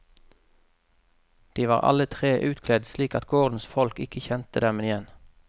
De var alle tre utkledd slik at gårdens folk ikke kjente dem igjen.